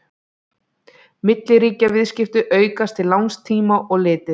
milliríkjaviðskipti aukast til langs tíma litið